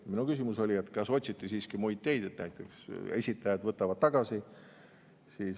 " Minu küsimus oli, et kas otsiti siiski muid teid, et näiteks esitajad võtavad tagasi.